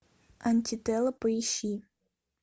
антитела поищи